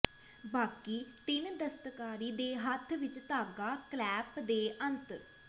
ਬਾਕੀ ਤਿੰਨ ਦਸਤਕਾਰੀ ਦੇ ਹੱਥ ਵਿੱਚ ਧਾਗਾ ਕਲੈਪ ਦੇ ਅੰਤ